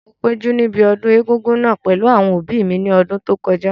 Mo péjú níbi ọdún egúngún náà pẹ̀lú àwọn òbí mi ní ọdún tó kọjá